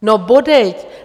No bodejť!